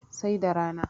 sai da rana